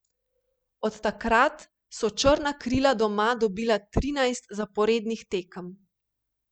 Od takrat so črna krila doma dobila trinajst zaporednih tekem.